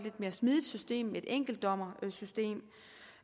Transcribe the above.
en enkeltdommerbedømmelse